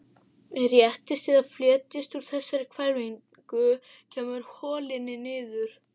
Réttist eða fletjist úr þessari hvelfingu, kemur holilin niður.